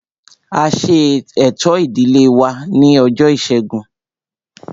A ṣe ẹ̀tọ́ ìdílé wa ní ọjọ́ ìṣẹ́gun